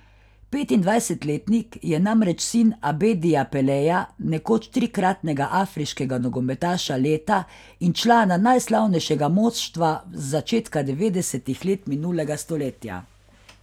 Petindvajsetletnik je namreč sin Abedija Peleja, nekoč trikratnega afriškega nogometaša leta in člana najslavnejšega moštva z začetka devetdesetih let minulega stoletja.